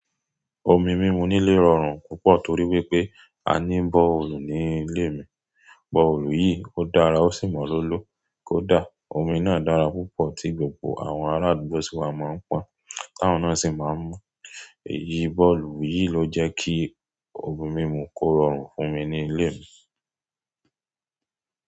Omi mímu nílé rọrùn púpọ̀ torí wípé a ní bọ́ọ̀lù ní ilé mi. Bore hole yìí ó dára ó sì mọ lolo kódà omi náà dára púpọ̀ tí gbogbo àwọn ará àdúgbò sì wá máa ń pọn, táwọn náà sì máa ń mu. Èyí bore hole yìí ló jẹ́ kí omi mímu kó rọrùn fún mi ní ilé mi.